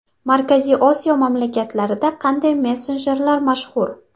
Markaziy Osiyo mamlakatlarida qanday messenjerlar mashhur?